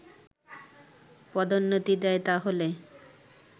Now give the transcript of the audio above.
পদোন্নতি দেয় তাহলে